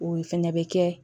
O fɛnɛ bɛ kɛ